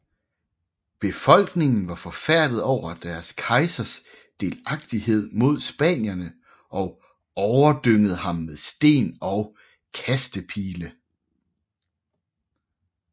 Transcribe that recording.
Befolkningen var forfærdet over deres kejsers delagtighed med spanierne og overdyngede ham med sten og kastepile